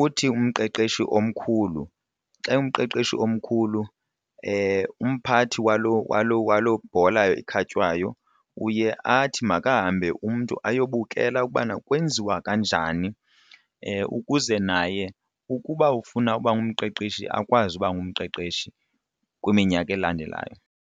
uthi umqeqeshi omkhulu xa umqeqeshi omkhulu umphathi walo bhola ikhatywayo uye athi makahambe umntu ayobukela ukubana kwenziwa kanjani ukuze naye ukuba ufuna uba ngumqeqeshi akwazi uba ngumqeqeshi kwiminyaka elandelayo.